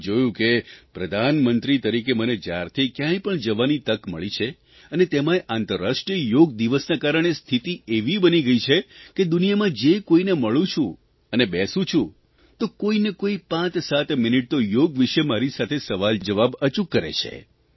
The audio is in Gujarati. મેં જોયું છે કેપ્રધાનમંત્રી તરીકે મને જયારથી કયાંય પણ જવાની તક મળી છે અને તેમાંય આંતરરાષ્ટ્રીય યોગ દિવસના કારણે સ્થિતિ એવી બની ગઇ છે કે દુનિયામાં જે કોઇને મળું છું અને બેસું છું તો કોઇને કોઇ પાંચસાત મિનિટ તો યોગ વિષે મારી સાથે સવાલજવાબ અચૂક કરે છે